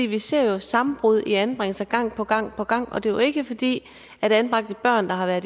vi ser jo sammenbrud i anbringelser gang på gang på gang og det er jo ikke fordi anbragte børn der har været